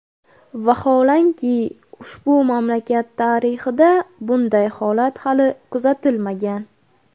Vaholanki, ushbu mamlakat tarixida bunday holat hali kuzatilmagan.